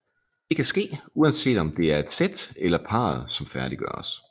Det kan ske uanset om det er et sæt eller parret som færdiggøres